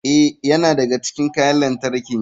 Ee, yana daga cikin kayan lantarki.